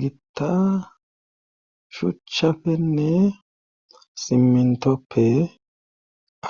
Gitta shuchchafenne simentoppe